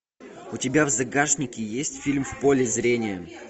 у тебя в загашнике есть фильм в поле зрения